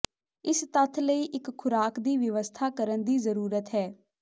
ਇਸ ਤੱਥ ਲਈ ਇੱਕ ਖੁਰਾਕ ਦੀ ਵਿਵਸਥਾ ਕਰਨ ਦੀ ਜ਼ਰੂਰਤ ਹੈ